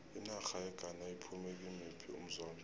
inarha yeghana iphume kimuphi umzombe